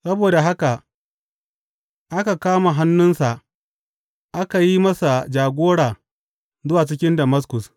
Saboda haka aka kama hannunsa aka yi masa jagora zuwa cikin Damaskus.